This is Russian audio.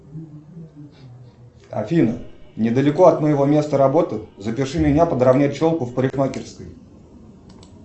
афина недалеко от моего места работы запиши меня подровнять челку в парикмахерской